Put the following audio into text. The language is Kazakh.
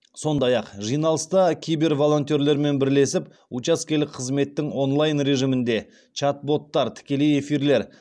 сондай ақ жиналыста киберволонтерлермен бірлесіп учаскелік қызметтің онлайн режимінде чат боттар тікелей эфирлер